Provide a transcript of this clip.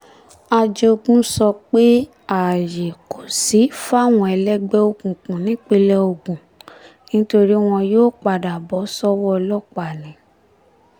ajogun sọ pé ààyè kò sí fáwọn ẹlẹgbẹ́ òkùnkùn nípínlẹ̀ ogun nítorí wọn yóò padà bọ́ sọ́wọ́ ọlọ́pàá ni